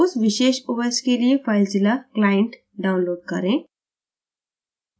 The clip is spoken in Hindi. उस विशेष os ऑपरेटिंग सिस्टम के लिए filezilla client download करें